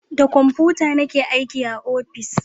Da komfuta ni ke aiki a ofis